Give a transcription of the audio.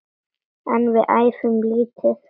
En við æfum lítið.